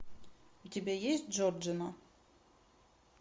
у тебя есть джорджино